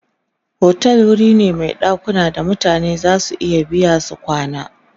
otel wuri ne Mai ɗakuna da mutane zasu iya biya su kwana